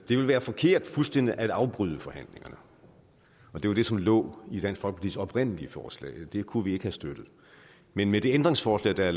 vil være forkert fuldstændig at afbryde forhandlingerne det var det som lå i dansk folkepartis oprindelige forslag og det kunne vi ikke have støttet men med de ændringsforslag der